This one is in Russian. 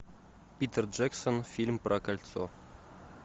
питер джексон фильм про кольцо